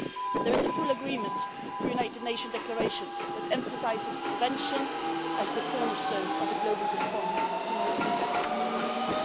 There is full agreement for a United Nations declaration that emphasises prevention as the cornerstone of the global response to non communicable diseases.